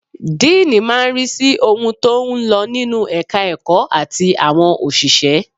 Díìnì máa ń rí sí ohun tó ń lọ nínú ẹ̀ka ẹ̀kọ́ àti àwọn òṣìṣẹ́.